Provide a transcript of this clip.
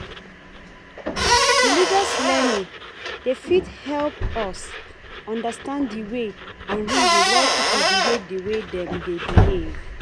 Religious learning dey fit help us understand di way and reason why pipo behave di way dem dey behave